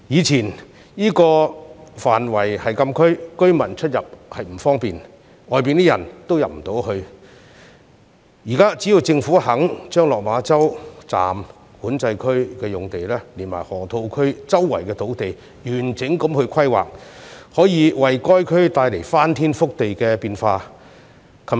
這個範圍以前是禁區，居民出入不便，外人亦難以進入，但現在只要政府肯就落馬洲站、管制區用地及河套區四周土地進行完整規劃，便可為該區帶來翻天覆地的變化。